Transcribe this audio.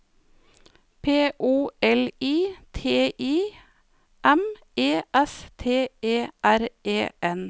P O L I T I M E S T E R E N